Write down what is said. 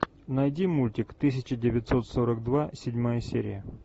найди мультик тысяча девятьсот сорок два седьмая серия